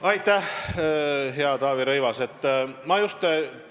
Aitäh, hea Taavi Rõivas!